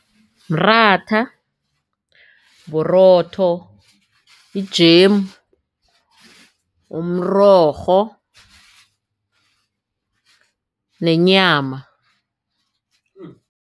Mratha, burotho, i-jam, umrorho nenyama.